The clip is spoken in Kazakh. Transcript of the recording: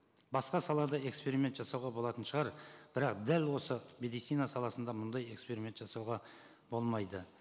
басқа салада эксперимент жасауға болатын шығар бірақ дәл осы медицина саласында мұндай эксперимент жасауға болмайды